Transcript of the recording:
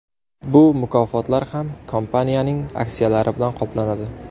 Bu mukofotlar ham kompaniyaning aksiyalari bilan qoplanadi.